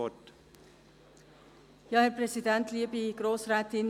Ich erteile Ihnen das Wort.